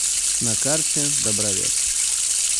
на карте добровет